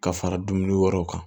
Ka fara dumuni wɛrɛw kan